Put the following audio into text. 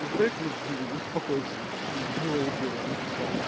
во-вторых ну блин успокойся ну было и было и все